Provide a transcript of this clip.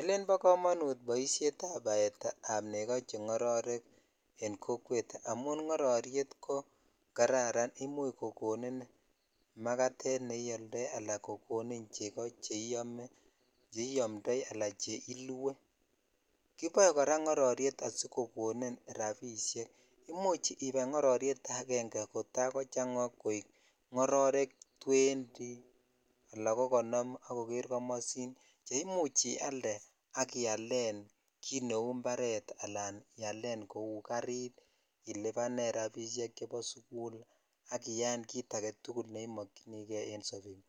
Elen bo komonut boisioni ab battery ab nego che ngororek an kokwet amun ngororyet ko kararan imuch kokonin magatet neyoldoi ala kokonin cheko cheiyomndoi Al che ilue kiboe kora ngororyet asikokonin rabishek imuch ibai ngororyet aenge kota kochang join ngororek twenty ala konom ak koker komosin che imuch ialde kit neu imparet alan ialen kou garit ilibanen rabishek chebo sukul ak iyaen kit agetukul neimkyinikei en sobet